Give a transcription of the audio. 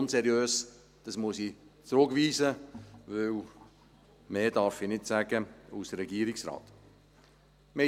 Unseriös, das muss ich zurückweisen, denn mehr darf ich als Regierungsrat nicht sagen.